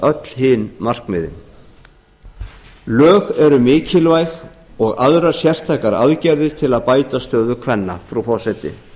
öll hin markmiðin lög eru mikilvæg og aðrar sértækar aðgerðir til að bæta stöðu kvenna frú forseti